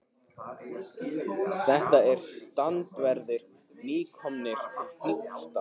Þetta eru strandverðir, nýkomnir til Hnífsdals.